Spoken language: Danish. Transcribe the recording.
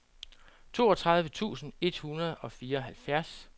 toogtredive tusind et hundrede og fireoghalvfjerds